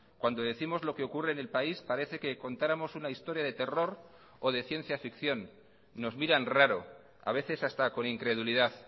cuando décimos lo que ocurre en el país parece que contáramos una historia de terror o de ciencia ficción nos miran raro a veces hasta con incredulidad